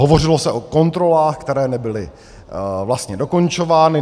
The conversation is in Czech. Hovořilo se o kontrolách, které nebyly vlastně dokončovány.